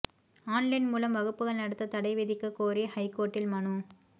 online மூலம் வகுப்புகள் நடத்தத் தடை விதிக்கக் கோரி ஹைகோர்ட்டில் மனு